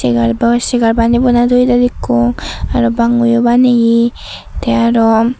eyar boi segar baney bonai toyede dekkong te aro bango baneya tey aro.